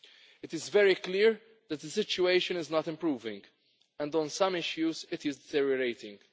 It is very clear that the situation is not improving and on some issues it is deteriorating.